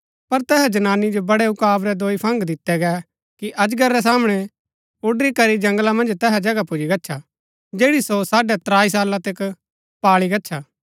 पर तैहा जनानी जो बड़े उकाब रै दोई फंग दितै गै कि अजगर रै सामणै उडरी करी जंगला मन्ज तैहा जगह पुजी गच्छा जैड़ी सो साढ़ै त्राई साला तक पाळी गच्छा